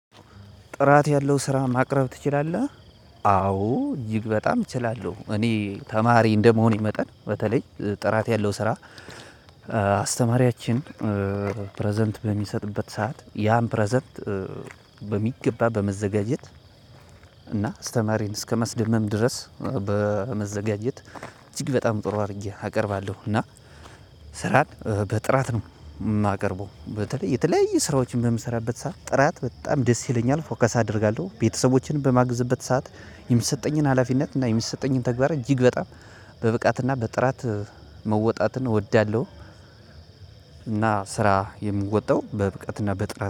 ጥራት ያለው ስራ ማቅረብ ትችላለህ? አዎ እጅግ በጣም እችላለሁ እኔ ተማሪ እንደመሆኔ መጠን በተለይ ጥራት ያለው ስራ። አስተማሪያችን ፕረዘንት በሚሰጥበት ሰዓት ያን ፕረዘንት በሚገባ በመዘጋጀት እና አስተማሪን እስከማስደመም ድረስ በመዘጋጀት እጅግ በጣም ጥሩ አድርጌ አቀርባለሁ። እና ስራን በጥራት ነው የማቀርበው በተለይ የተለያየ ስራዎችን በምሰራበት ሰዓት ጥራት በጣም ደስ ይለኛል ፎከስ አደርጋለሁ። ቤተሰቦችን በማግዘበት ሰዓት የሚትሰጠኝን ሀላፊነት እና የሚሰጠኝን ተግባራት እጅግ በጣም በብቃት እና በጥራት መወጣትን እወዳለሁ። እና ስራ የምወጣው በብቃትና በጥራት